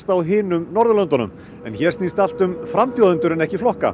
á hinum Norðurlöndunum en hér snýst allt um frambjóðendur en ekki flokka